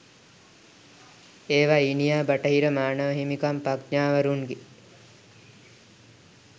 ඒවා ඊනියා බටහිර මානව හිමිකම් පඤ්ඤාවරුන්ගේ